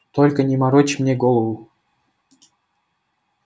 только не морочь мне голову